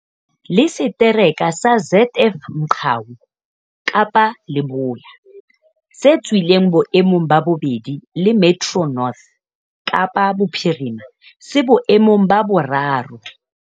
Le Setereke sa ZF Mgcawu, Kapa Leboya, se tswileng boemong ba bobedi le Metro North, Kapa Bophirima, se boemong ba boraro.